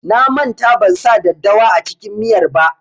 Na manta ban sa daddawa a cikin miyar ba.